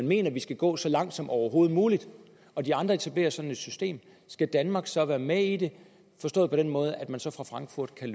mener at vi skal gå så langt som overhovedet muligt og de andre etablerer et sådant system skal danmark så være med i det forstået på den måde at man så fra frankfurt kan